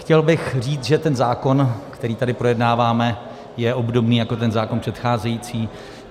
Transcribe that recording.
Chtěl bych říct, že ten zákon, který tady projednáváme, je obdobný jako ten zákon předcházející.